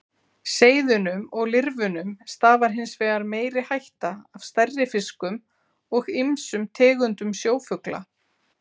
Seiðunum og lirfunum stafar hins vegar meiri hætta af stærri fiskum og ýmsum tegundum sjófugla.